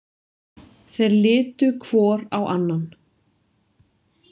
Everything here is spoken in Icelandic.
Þeir litu hvor á annan.